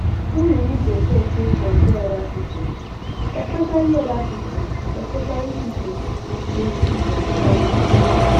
No dey use yourself take compare oda pipo especially oda pipo especially pipo wey you see for social media